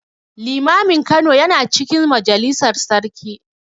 Limamin Kano yana cikin majalisar sarki.